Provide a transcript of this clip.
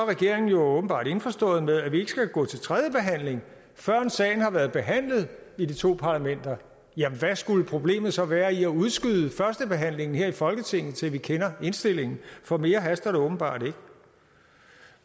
regeringen jo åbenbart indforstået med at vi ikke skal gå til tredje behandling førend sagen har været behandlet i de to parlamenter jamen hvad skulle problemet så være i at udskyde førstebehandlingen her i folketinget til vi kender indstillingen for mere haster det åbenbart ikke